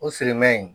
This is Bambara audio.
O sirimɛ in